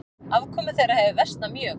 Afkoma þeirra hefur versnað mjög.